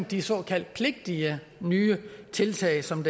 de såkaldt pligtige nye tiltag som